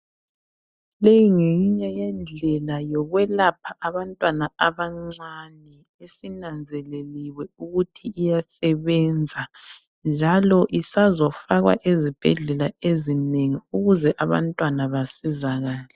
Leyi ngeyinye yendlela yokwelapha abantwana abancane esinanzeleliwe ukuthi iyasebenza njalo isazofakwa ezibhedlela ezinengi ukuze abantwana basizakale.